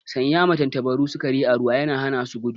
Sanya ma tantabaru sikari a ruwa yana hana su gudu